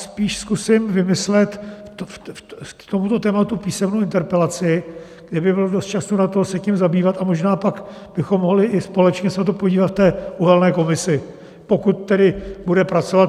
Spíš zkusím vymyslet k tomuto tématu písemnou interpelaci, kde by bylo dost času na to, se tím zabývat, a možná pak bychom mohli i společně se na to podívat v té uhelné komisi, pokud tedy bude pracovat.